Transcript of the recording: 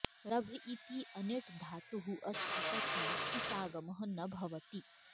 रभ् इति अनिट् धातुः अस्ति तस्मात् इटागमः न भवति